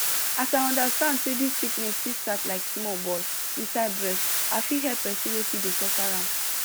as i understand say dis sickness fit start like small ball inside breast i fit help pesin wey fit dey suffer am